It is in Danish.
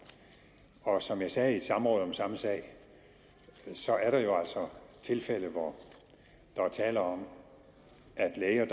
og som jeg sagde i et samråd om samme sag er der altså tilfælde hvor der er tale om at læger